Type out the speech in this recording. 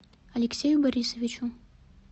алексею борисовичу